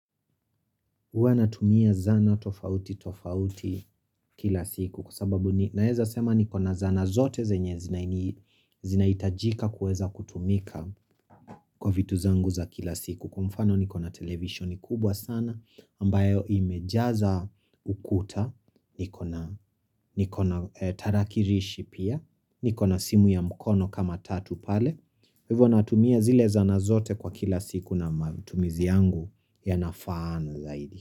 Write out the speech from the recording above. Huwa natumia zana tofauti tofauti kila siku kwa sababu naweza sema niko na zana zote zenye zinahitajika kuweza kutumika kwa vitu zangu za kila siku. Kwa mfano niko na televisioni kubwa sana ambayo imejaza ukuta niko na tarakilishi pia, niko na simu ya mkono kama tatu pale Kwa hivyo natumia zile zana zote kwa kila siku na matumizi yangu yanafaana zaidi.